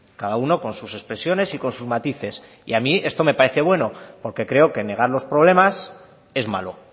cada uno con sus expresiones y con sus matices y a mí esto me parece bueno porque creo que negar los problemas es malo